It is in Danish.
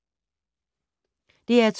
DR2